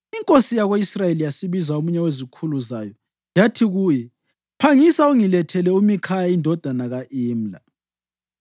Inkosi yako-Israyeli yasibiza omunye wezikhulu zayo yathi kuye, “Phangisa ungilethele uMikhaya indodana ka-Imla.”